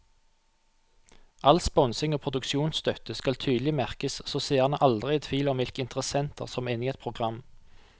All sponsing og produksjonsstøtte skal tydelig merkes så seerne aldri er i tvil om hvilke interessenter som er inne i et program.